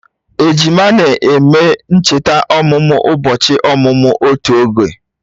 Ejima na-eme ncheta ọmụmụ ụbọchị ọmụmụ otu oge